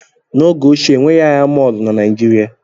N'oge ochie, enweghị ahịa mọọlụ na Naijiria